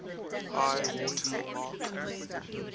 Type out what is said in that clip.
high water mark